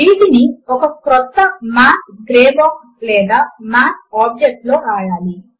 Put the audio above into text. వీటిని ఒక క్రొత్త మాత్ గ్రే బాక్స్ లేదా మాత్ ఆబ్జెక్ట్ లో వ్రాయాలి